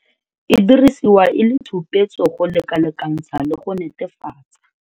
E dirisiwa e le tshupetso go lekalekantsha le go netefatsa.